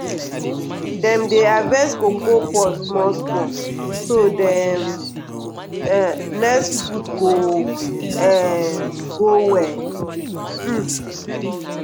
dem dey harvest cocoa pod small small so d um next fruit go um grow well. um